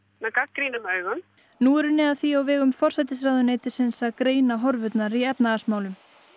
með gagnrýnum augum nú er unnið að því á vegum forsætisráðuneytisins að greina horfurnar í efnahagsmálum